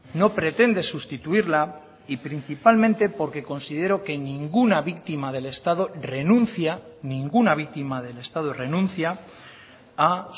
no pretende sustituirla y principalmente porque considero que ninguna víctima del estado renuncia ninguna víctima del estado renuncia a